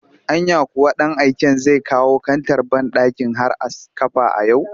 Anya kuwa ɗan aiken zai kawo kantar banɗakin har a kafa a yau